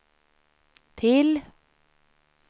till